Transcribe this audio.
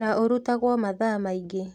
Na ũrutagwo mathaa maingĩ